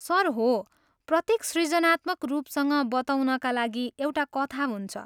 Sir, हो। प्रत्येक सृजनात्मक रूपसँग बताउनका लागि एउटा कथा हुन्छ।